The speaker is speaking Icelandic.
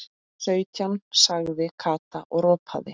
Sautján sagði Kata og ropaði.